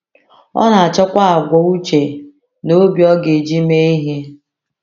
Ọ na-achọkwa àgwà uche na obi ọ ga-eji mee ihe.